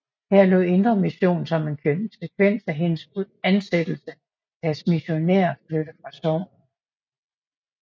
Her lod Indre Mission som en konsekvens af hendes ansættelse deres missionær flytte fra sognet